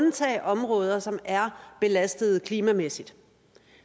at undtage områder som er belastede klimamæssigt